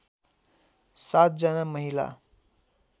७ जना महिला